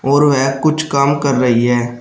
और वह कुछ काम कर रही है।